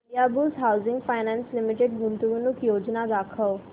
Indiabulls housing finance limited गुंतवणूक योजना दाखव